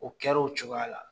O kɛra o cogoya la